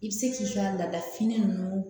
I bɛ se k'i ka laada fini ninnu